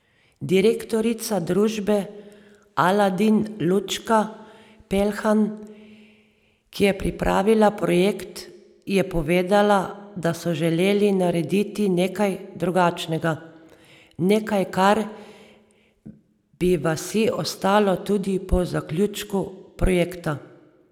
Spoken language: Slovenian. Direktorica družbe Aladin Lučka Pelhan, ki je pripravila projekt, je povedala, da so želeli narediti nekaj drugačnega, nekaj kar bi vasi ostalo tudi po zaključku projekta.